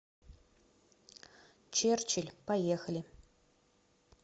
черчилль поехали